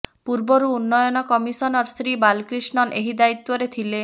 ପୂର୍ବରୁ ଉନ୍ନୟନ କମିସନର ଶ୍ରୀ ବାଲକ୍ରିଷ୍ଣନ୍ ଏହି ଦାୟିତ୍ବରେ ଥିଲେ